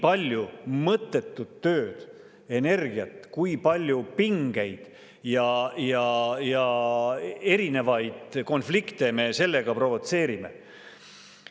Kui palju mõttetut tööd, energiat, kui palju pingeid ja erinevaid konflikte me sellega provotseerime!